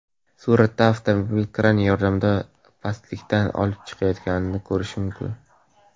Suratda avtomobil kran yordamida pastlikdan olib chiqilayotganini ko‘rish mumkin.